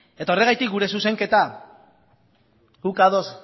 horregatik gure zuzenketa gu ados